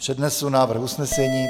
Přednesu návrh usnesení.